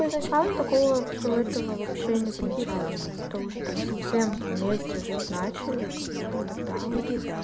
такого все этого вообще не замечала что кто уже там совсем вместе жить начали как бы вот тогда вот